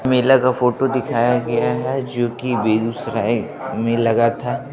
मेला का फोटो दिखाया गया है जो की बेगूसराय में लगा था।